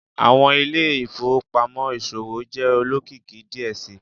Awọn ile-ifowopamọ iṣowo jẹ olokiki diẹ sii